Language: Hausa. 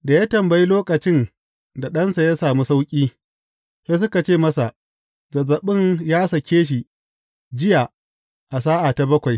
Da ya tambayi lokacin da ɗansa ya sami sauƙi, sai suka ce masa, Zazzaɓin ya sake shi jiya a sa’a ta bakwai.